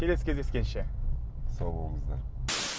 келесі кездескенше сау болыңыздар